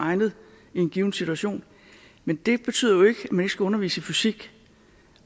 egnet i en given situation men det betyder jo ikke at man ikke skal undervise i fysik